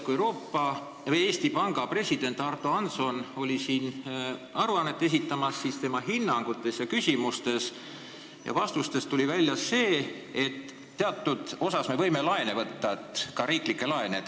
Kui Eesti Panga president Ardo Hansson oli siin aruannet esitamas, siis tema hinnangutest ja vastustest tuli välja, et teatud osas me võime laene võtta, ka riiklikke laene.